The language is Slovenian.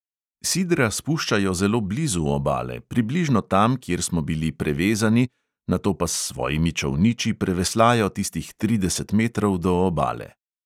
Sidra spuščajo zelo blizu obale, približno tam, kjer smo bili prevezani, nato pa s svojimi čolniči preveslajo tistih trideset metrov do obale.